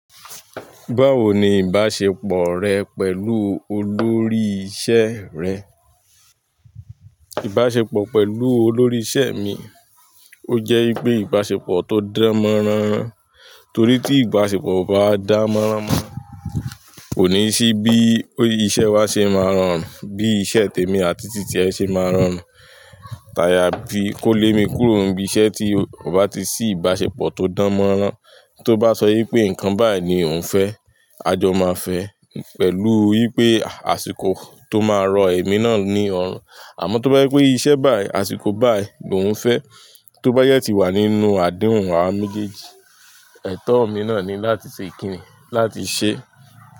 Báwo ni ìbáṣepọ̀ rẹ pẹ̀lú olórí ìṣe rẹ? Ìbáṣepọ̀ pẹ̀lú olórí ìṣe mi, ó jẹ́ wipé ìbáṣepọ̀ tó dánmọ́nrán. Torí tí ìbáṣepọ̀ ò bá dánmọ́nrán, kò ní sí bí iṣẹ́ wa ṣe máa rọrùn, bí iṣẹ́ tèmi àti tí tiẹ̀ ṣe máa rọrùn. Taya bí kó lé mi kúrò níbi iṣẹ́ tí ò bá ti sí ìbáṣepọ̀ tó dánmọ́nrán, tó bá sọ yín pé nǹkan báyìí ni òun fẹ́, a jọ máa fẹ́, pẹ̀lú wípé àsìkò tó máa rọ ẹ̀mí náà ni ọ̀ràn. Àmọ́ tó bá yẹ pé iṣẹ́ báyìí, àsìkò báyìí ni òun fẹ́, tó bá yẹ ti awà nínú àdéhùn wa méjèèjì, ètò mi náà ni láti ṣe ìkíni láti ṣẹ́.